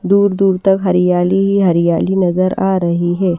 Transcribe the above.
दूर-दूर तक हरियाली ही हरियाली नजर आ रही है।